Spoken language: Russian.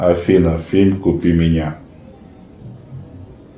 афина фильм купи меня